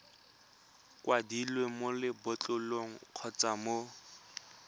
kwadilweng mo lebotlolong kgotsa mo